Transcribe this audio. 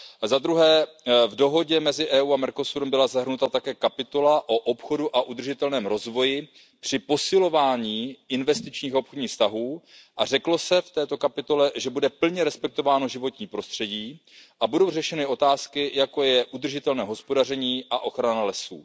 Zadruhé, v dohodě mezi Evropskou unií a Mercosurem byla zahrnuta také kapitola o obchodu a udržitelném rozvoji při posilování investičních a obchodních vztahů a řeklo se v této kapitole, že bude plně respektováno životní prostředí a budou řešeny otázky, jako je udržitelné hospodaření a ochrana lesů.